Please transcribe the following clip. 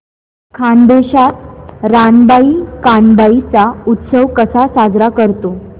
खानदेशात रानबाई कानबाई चा उत्सव कसा साजरा करतात